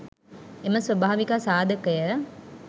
එම ස්වභාවික සාධකය